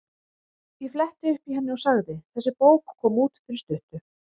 Ég fletti upp í henni og sagði: Þessi bók kom út fyrir stuttu.